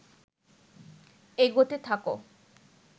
এগোতে থাক